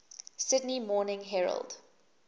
sydney morning herald